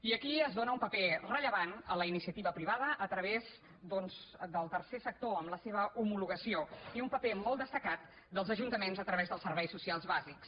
i aquí es dóna un paper rellevant a la iniciativa privada a través doncs del tercer sector amb la seva homologació i un paper molt destacat dels ajuntaments a través dels serveis socials bàsics